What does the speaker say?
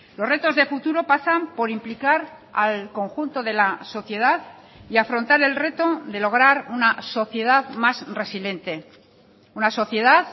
los retos de futuro pasan por implicar al conjunto de la sociedad y afrontar el reto de lograr una sociedad más resiliente una sociedad